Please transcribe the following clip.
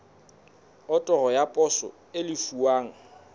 otoro ya poso e lefuwang